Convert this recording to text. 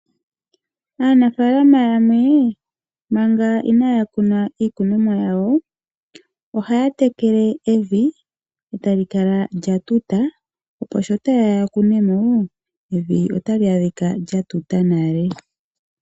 Aanafalama yamwe manga inaya kuna iimeno yawo, ohaya tekele evi tali kala lya tuta, opo sho ta yeya ya kune mo evi otali adhika lya tuta nale.